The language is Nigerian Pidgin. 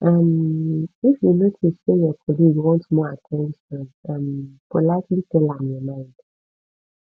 um if you notice say your colleague want more at ten tion um politely tell am your mind